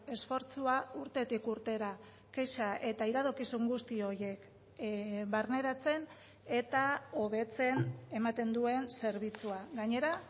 esfortzua urtetik urtera kexa eta iradokizun guzti horiek barneratzen eta hobetzen ematen duen zerbitzua gainera